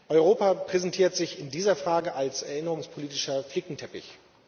Europa präsentiert sich in dieser Frage als erinnerungspolitischer Flickenteppich.